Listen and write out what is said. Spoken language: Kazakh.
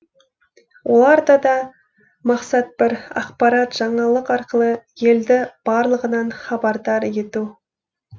оларда да мақсат бір ақпарат жаңалық арқылы елді барлығынан хабардар ету